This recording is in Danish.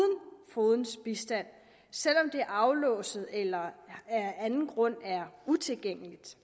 fogedens bistand selv om det er aflåst eller af anden grund er utilgængeligt